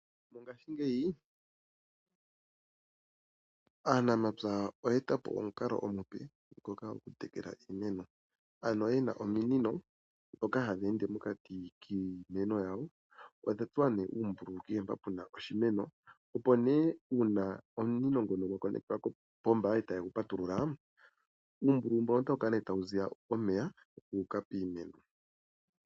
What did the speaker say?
Mongaashingeyi aanamapya oyeetapo omukalo omupe ngoka goku tekela iimeno, ano yena ominino dhoka hadhi ende mokati kiimeno yawo, odha tsuwa nee uumbululu kehe mpoka puna oshimeno opo nee uuna ominino ngono gatsakanekithwa kopomba e tagu patululwa uumbululu mbono otawu kala nee tawu zi omeya guuka piimeno.